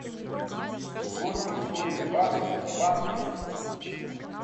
сколько стоит бакс в банке